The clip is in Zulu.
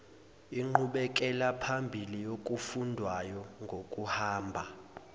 inqubekelaphambili yokufundwayo ngokuhamba